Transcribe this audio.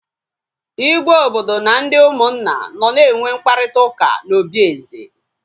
Igwe obodo na ndị ụmụnna nọ na enwe mkparịta ụka na obi eze